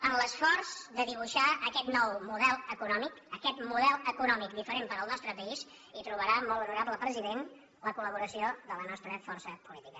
en l’esforç de dibuixar aquest nou model econòmic aquest model econòmic diferent per al nostre país hi trobarà molt honorable president la col·laboració de la nostra força política